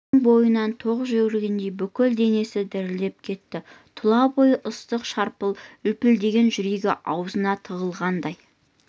өн бойынан ток жүгіргендей бүкіл денесі дірілдеп кетті тұла бойын ыстың шарпып лүпілдеген жүрегі аузына тығылғандай